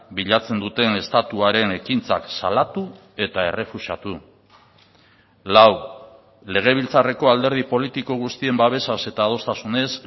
bilatzen duten estatuaren ekintzak salatu eta errefusatu lau legebiltzarreko alderdi politiko guztien babesaz eta adostasunez